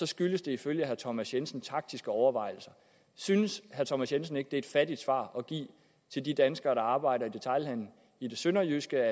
skyldes det ifølge herre thomas jensen taktiske overvejelser synes herre thomas jensen ikke at det er et fattigt svar at give til de danskere der arbejder i detailhandelen i det sønderjyske